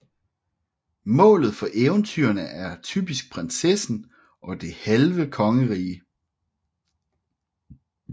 Målet for eventyrene er typisk prinsessen og det halve kongerige